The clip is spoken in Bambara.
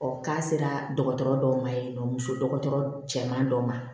k'a sera dɔgɔtɔrɔ dɔw ma yen nɔ muso dɔgɔtɔrɔ cɛman dɔ ma